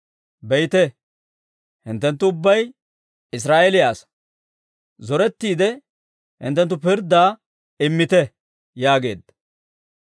Be'ite, hinttenttu ubbay Israa'eeliyaa asaa; zorettiide hinttenttu pirddaa immite» yaageedda.